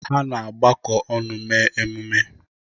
Ha na-agbakọ ọnụ mee emume.